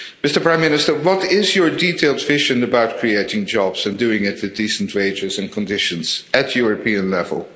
Mr Prime Minister, what is your detailed vision about creating jobs and doing it with decent wages and conditions at European level?